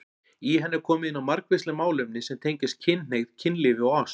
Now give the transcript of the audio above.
Í henni er komið inn á margvísleg málefni sem tengjast kynhneigð, kynlífi og ást.